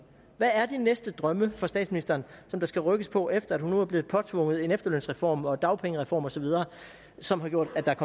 hvad er de næste drømme for statsministeren som der skal rykkes på efter at hun nu er blevet påtvunget en efterlønsreform og en dagpengereform osv som har gjort at der er